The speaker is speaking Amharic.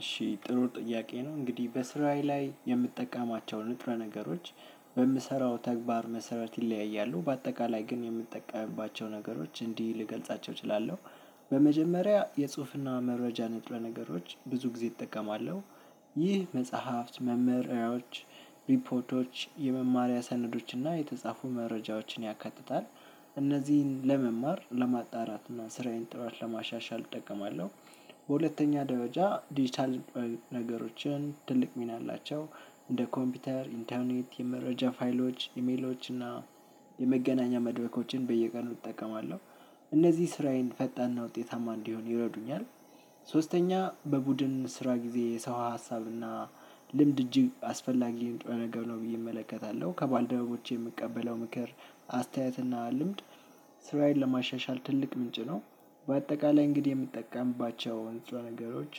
እሺ ጥሩ ጥያቄ ነው እንግዲህ በስራዬ ላይ የምጠቀማቸው ንጥረ ነገሮች በምሰራው ተግባር መሰረት ይለያያሉ በአጠቃላይ ግን የምጠቀምባቸው ነገሮች እንዲህ ልገልጻቸው እችላለሁ። በመጀመሪያ የጽሁፍና መረጃ ንጥረ ነገሮች ብዙ ጊዜ እጠቀማለሁ። ይህ መጽሐፍት መመሪያዎች ሪፖርቶች የመማሪያ ሰነዶች እና የተጻፉ መረጃዎችን ያካትታል። እነዚህን ለመማር ለማጣራት እና ስራዬን ጥራት ለማሻሻል እጠቀማለሁ። በሁለተኛ ደረጃ ዲጂታል ነገሮችን ትልቅ ሚና አላቸው። እንደ ኮምፒውተር ኢንተርኔት የመረጃ ፋይሎች ኢሜሎች እና የመገናኛ መድረኮችን በየቀኑ እጠቀማለሁ። እነዚህ ስራዬን ፈጣንና ውጤታማ እንዲሆን ይረዱኛል። ሶስተኛ በቡድን ስራ ጊዜ የሰው ሀሳብና ልምድ እጅግ አስፈላጊ ንጥረ ነገር ነው ብዬ እመለከታለሁ። ከባልደረቦቼ የምቀበለው ምክር አስተያየት እና ልምድ ስራዬን ለማሻሻል ትልቅ ምንጭ ነው። በአጠቃላይ እንግዲህ የምጠቀምባቸው ንጥረ ነገሮች